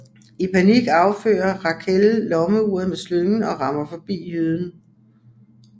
I panik affyrer Raquelle lommeuret med slyngen og rammer forbi Jyden